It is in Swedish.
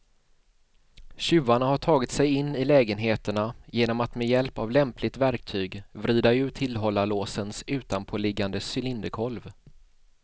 Tjuvarna har tagit sig in i lägenheterna genom att med hjälp av lämpligt verktyg vrida ur tillhållarlåsens utanpåliggande cylinderkolv.